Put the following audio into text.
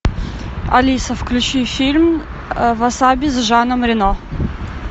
алиса включи фильм васаби с жаном рено